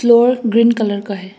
Lower green colour का है।